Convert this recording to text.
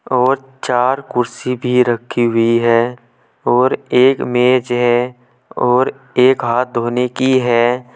और चार कुर्सी भी रखी हुई है और एक मेज है और एक हाथ धोने की है।